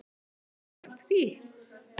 Eruð þið að því?